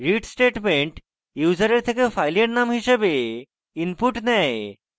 read statement ইউসারের থেকে ফাইলের নাম হিসাবে input নেয়